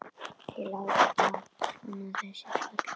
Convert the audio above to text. Þeir láta svona þessir karlar.